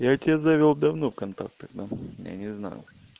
я тебя завёл давно в контактах я не знаю